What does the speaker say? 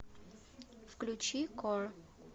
включи кор